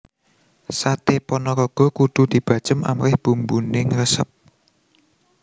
Saté Panaraga kudu dibacem amrih bumbune ngresep